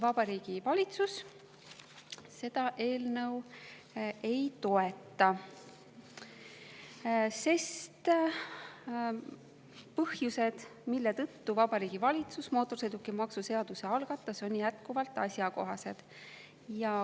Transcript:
Vabariigi Valitsus seda eelnõu ei toeta, sest põhjused, mille tõttu Vabariigi Valitsus mootorsõidukimaksu seaduse algatas, on jätkuvalt asjakohased.